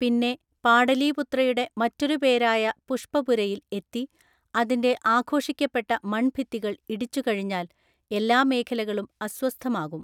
പിന്നെ, പാടലീപുത്രയുടെ മറ്റൊരു പേരായ പുഷ്പപുരയിൽ എത്തി, അതിന്റെ ആഘോഷിക്കപ്പെട്ട മൺഭിത്തികൾ ഇടിച്ചുകഴിഞ്ഞാൽ, എല്ലാ മേഖലകളും അസ്വസ്ഥമാകും.